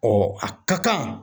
a ka kan.